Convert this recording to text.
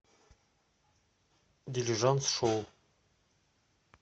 дилижанс шоу